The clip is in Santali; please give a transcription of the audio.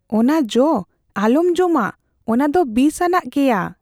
ᱚᱱᱟ ᱡᱚ ᱟᱞᱚᱢ ᱡᱚᱢᱟ ᱾ ᱚᱱᱟ ᱫᱚ ᱵᱤᱥᱟᱱᱟᱜ ᱜᱮᱭᱟ ᱾